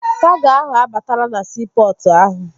Kago ahụ abatala na siipọtụ ahụ